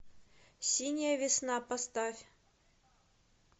синяя весна поставь